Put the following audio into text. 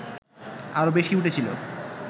আরও বেশি উঠেছিল